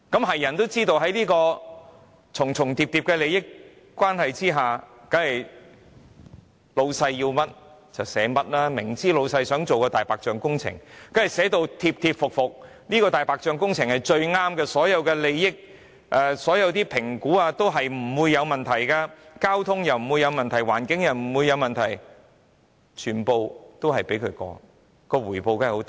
誰也知道，在重重疊疊的利益關係下，當然是老闆想要甚麼，它們便寫甚麼，明知老闆想進行"大白象"工程，當然便會寫得貼貼服服，指這項"大白象"工程是最好的，所有的評估也表示不會有問題；交通不會有問題、環境也不會有問題，全部也通過，當然它們所得的回報也會很大。